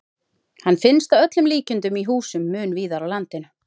Hann finnst að öllum líkindum í húsum mun víðar á landinu.